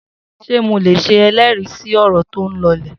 Se mólè sẹ ẹlẹri si ọrọ toún lọ lẹ?